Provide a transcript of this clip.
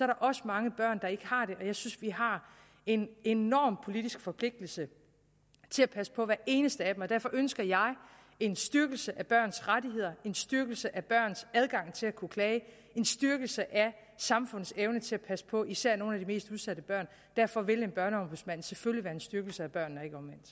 der også mange børn der ikke har det og jeg synes vi har en enorm politisk forpligtelse til at passe på hvert eneste af dem derfor ønsker jeg en styrkelse af børns rettigheder en styrkelse af børns adgang til at kunne klage en styrkelse af samfundets evne til at passe på især nogle af de mest udsatte børn derfor vil en børneombudsmand selvfølgelig være en styrkelse af børnene